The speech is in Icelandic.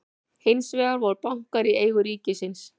hins vegar voru bankar í eigu ríkisins